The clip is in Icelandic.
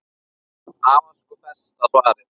Það var sko besta svarið.